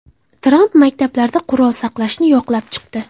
Tramp maktablarda qurol saqlashni yoqlab chiqdi.